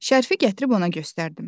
Şərfi gətirib ona göstərdim.